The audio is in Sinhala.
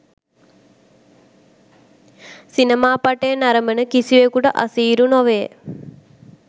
සිනමා පටය නරඹන කිසිවෙකුට අසීරු නොවේ